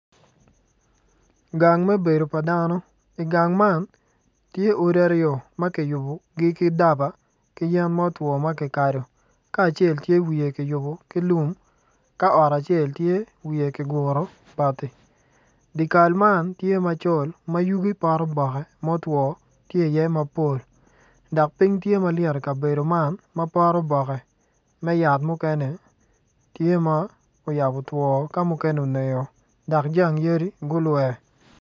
Gang me bedo pa dano igang man tye odi aryo ma kiyubogi ki daba ki yen ma otwo ma kikado ka acel tye wiye kiybo ki lum ka ot acel tye wiye kiguro bati di kal man tye macol ma yugi pot oboke muto tye iye mapol dok piny tye ma lyet i kabedo man ma pot oboke me yat mukene tye ma oyabo two ka mukene onero dok jang yadi gulwer.